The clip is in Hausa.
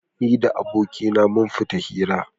Ni da abokaina mun fita hira.